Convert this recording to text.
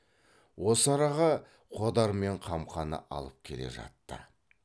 осы араға қодар мен қамқаны алып келе жатты